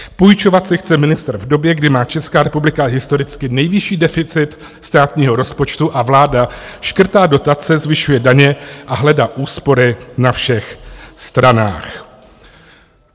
Půjčovat si chce ministr v době, kdy má Česká republika historicky nejvyšší deficit státního rozpočtu a vláda škrtá dotace, zvyšuje daně a hledá úspory na všech stranách.